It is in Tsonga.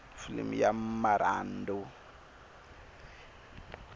filimi ya ta marhandu